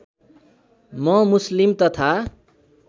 म मुस्लिम तथा